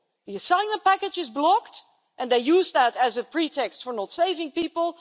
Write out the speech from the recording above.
The asylum package is blocked and they use that as a pretext for not saving people.